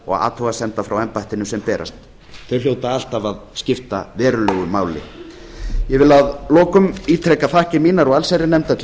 og athugasemda sem frá embættinu berast þau hljóta alltaf að skipta verulegu máli ég vil að lokum ítreka þakkir mínar og allsherjarnefndar til